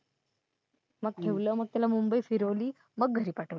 मग ठेवलं मग त्याला मुंबई फिरवली मग त्याला घरी पाठवलं.